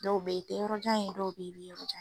Dɔw be yen i tɛ yɔrɔ jan ye, dɔw be yen i be yɔrɔ jan ye.